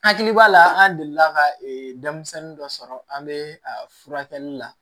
Hakili b'a la an delila ka denmisɛnnin dɔ sɔrɔ an be a furakɛli la